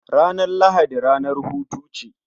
Ranar Lahadi ranar hutu ce